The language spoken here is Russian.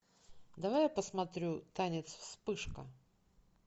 давай я посмотрю танец вспышка